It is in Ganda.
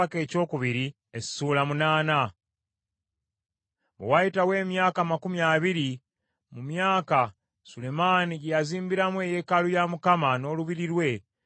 Bwe wayitawo emyaka amakumi abiri, mu myaka Sulemaani gye yazimbiramu eyeekaalu ya Mukama n’olubiri lwe,